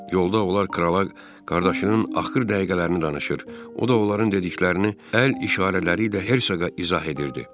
Yolda onlar krala qardaşının axır dəqiqələrini danışır, o da onların dediklərini əl işarələri ilə Hersoqa izah edirdi.